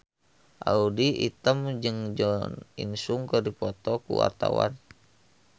Audy Item jeung Jo In Sung keur dipoto ku wartawan